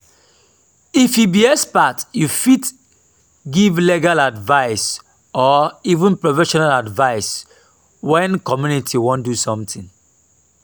if you be expert you fit give legal advise or even professional advice when community wan do something